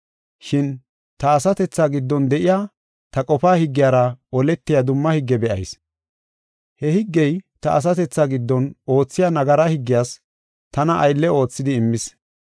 Shin ta asatethaa giddon de7iya ta qofaa higgiyara oletiya dumma higge be7ayis. He higgey ta asatethaa giddon oothiya nagara higgiyas tana aylle oothidi immis.